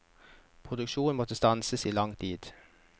Produksjonen må stanses i lang tid.